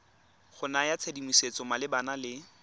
go naya tshedimosetso malebana le